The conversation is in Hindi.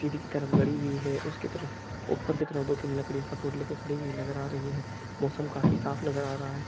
सीडी की तरफ गडी हुई है उसकी तरफ ऊपर की तरफ दो तीन लकड़ियां सपोर्ट लेकर खड़ी हुई नजर आ रही है मौसम काफी साफ नजर आ रहा है।